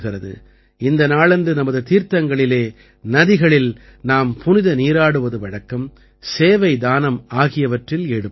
இந்த நாளன்று நமது தீர்த்தங்களில் நதிகளில் நாம் புனித நீராடுவது வழக்கம் சேவைதானம் ஆகியவற்றில் ஈடுபடுவோம்